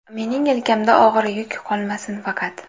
Mening yelkamda og‘ir yuk qolmasin faqat.